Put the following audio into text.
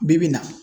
Bi bi in na